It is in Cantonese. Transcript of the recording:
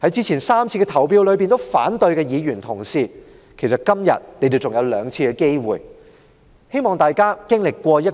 在之前3次投反對票的議員同事，今天還有兩次機會，希望大家在